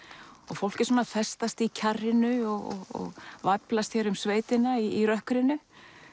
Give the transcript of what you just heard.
fólk er svona að festast í kjarrinu og væflast um sveitina í rökkrinu